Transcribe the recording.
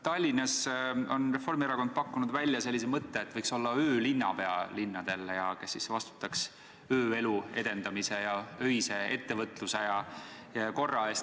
Tallinnas on Reformierakond pakkunud välja sellise mõtte, et linnal võiks olla öölinnapea, kes vastutaks ööelu edendamise ning öise ettevõtluse ja korra eest.